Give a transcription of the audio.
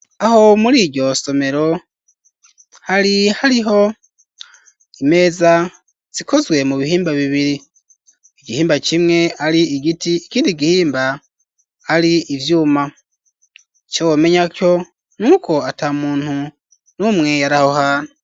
Aho muriryo somero hari hariho imeza zikozwe mu bihimba bibiri igihimba kimwe ari igiti ikindi gihimba ari ivyuma ico womenya co nuko ata muntu numwe yaraho hantu.